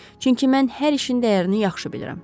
Çünki mən hər işin dəyərini yaxşı bilirəm.